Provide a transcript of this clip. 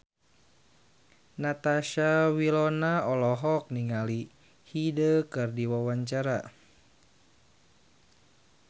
Natasha Wilona olohok ningali Hyde keur diwawancara